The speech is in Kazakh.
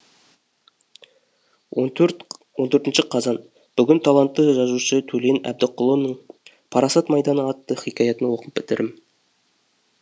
он төртінші қазан бүгін талантты жазушы төлен әбдікұлының парасат майданы атты хикаятын оқып бітірдім